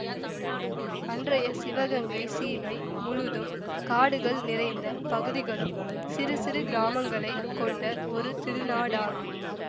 அன்றைய சிவகங்கைச் சீமை முழுதும் காடுகள் நிறைந்த பகுதிகளும் சிறு சிறு கிராமங்களை கொண்ட ஒரு திருநாடாகும்